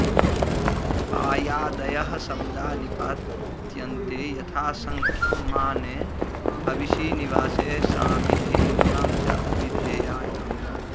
पाय्यादयः शब्दा निपात्यन्ते यथासङ्ख्यं माने हविषि निवासे सामिधेन्यां च अभिधेयायाम्